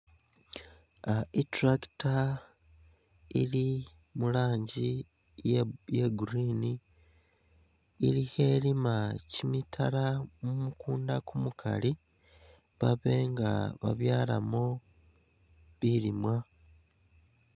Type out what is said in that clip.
Ah I'tractor ili mu lanji iye iye green ili khelima kyimitala mu mukunda kumukali babe nga babyalamo bilimwa